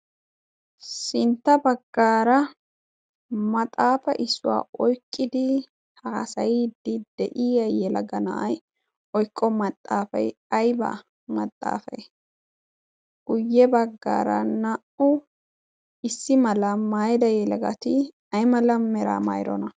sintta baggaara maxaafe issuwaa oyqqidi haasayiiddi de'iaayye lagga na'ay oyqqo maxaafay ayba maxaafay guyye baggaara naa'u issi mala maayida yeagatii ay mala mera mayrona?